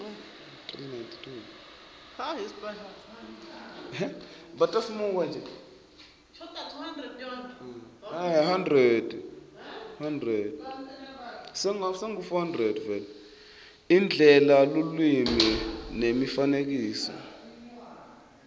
indlela lulwimi nemifanekisomcondvo